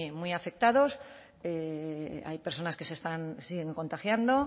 muy afectados hay personas que se están siguen contagiando